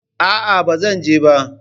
A'a, bazan je ba.